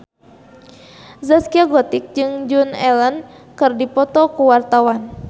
Zaskia Gotik jeung Joan Allen keur dipoto ku wartawan